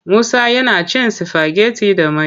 Musa yana cin sifageti da mai.